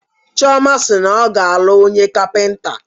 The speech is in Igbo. Chioma si na ọ ga-alụ onye Kapịnta.